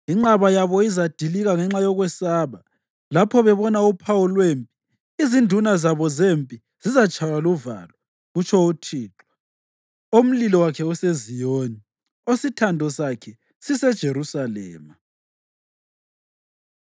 Inqaba yabo izadilika ngenxa yokwesaba; lapho bebona uphawu lwempi izinduna zabo zempi zizatshaywa luvalo,” kutsho uThixo omlilo wakhe useZiyoni, osithando sakhe siseJerusalema.